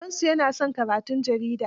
Babansu ya na son karatun jarida.